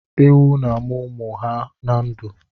Ewu na-amụ ụmụ ha na ndụ.